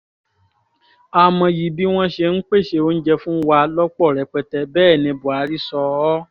a mọyì bí wọ́n ṣe ń pèsè oúnjẹ fún wa lọ́pọ̀ rẹpẹtẹ bẹ́ẹ̀ ní buhari sọ ọ́